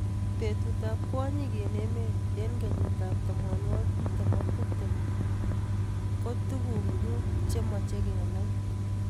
Betut ab kwonyik eng emet eng kenyit ab tamanwokik tiptem ak tiptem ko tuku mut chemeche kenai.